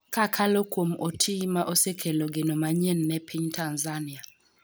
kakalo kuom Otii ma osekelo geno manyien ne piny Tanzania